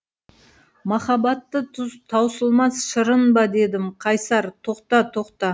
махаббатты таусылмас шырын ба дедім қайсар тоқта тоқта